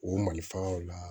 O malifaw la